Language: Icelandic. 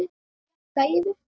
Jakka yfir?